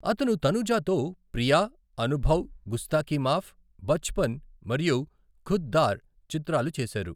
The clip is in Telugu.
అతను తనుజాతో ప్రియా, అనుభవ్, గుస్తాకి మాఫ్, బచ్పన్ మరియు ఖుద్ దార్ చిత్రాలు చేశారు.